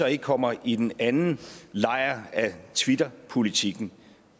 ikke kommer i den anden lejr af twitterpolitikken